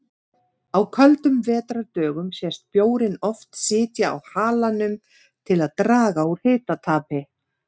Á köldum vetrardögum sést bjórinn oft sitja á halanum til að draga úr hitatapi.